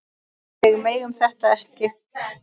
Við megum þetta ekki!